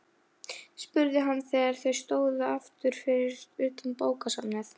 Sambúð þarf að byggjast á jafnrétti og samningsvilja.